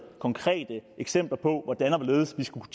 konkrete eksempler på hvordan og hvorledes vi skulle